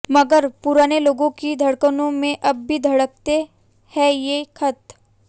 मगर पुराने लोगों की धड़कनों में अब भी धड़कते हैं ये खत